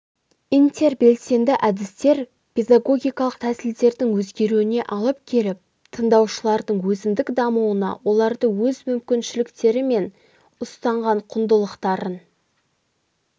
интербелсенді әдістер педагогикалық тәсілдердің өзгеруіне алып келіп тыңдаушылардың өзіндік дамуына оларды өз мүмкіншіліктері мен ұстанған құндылықтарын